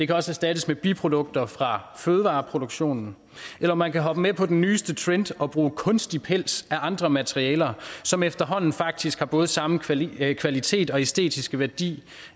kan også erstattes med biprodukter fra fødevareproduktionen eller man kan hoppe med på den nyeste trend og bruge kunstig pels af andre materialer som efterhånden faktisk har både samme kvalitet kvalitet og æstetiske værdi